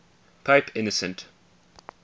pope innocent